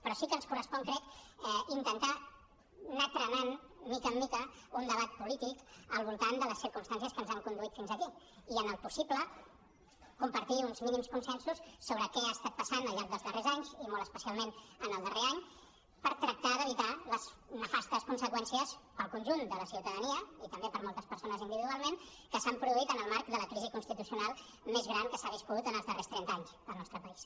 però sí que ens correspon crec intentar anar trenant mica en mica un debat polític al voltant de les circumstàncies que ens han conduit fins aquí i en el possible compartir uns mínims consensos sobre què ha estat passant al llarg dels darrers anys i molt especialment en el darrer any per tractar d’evitar les nefastes conseqüències per al conjunt de la ciutadania i també per a moltes persones individualment que s’han produït en el marc de la crisi constitucional més gran que s’ha viscut en els darrers trenta anys al nostre país